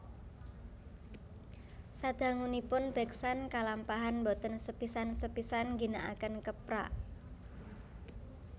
Sadangunipun beksan kalampahan boten sepisan sepisan ngginakaken keprak